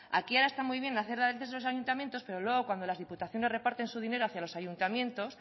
aquí ahora está muy bien hacer de los ayuntamientos pero luego cuando las diputaciones reparten su dinero hacia los ayuntamientos